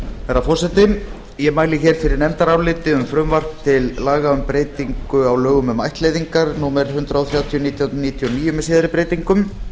herra forseti ég mæli hér fyrir nefndaráliti um frumvarp til laga um breytingu á lögum um ættleiðingar númer hundrað þrjátíu nítján hundruð níutíu og níu með síðari breytingum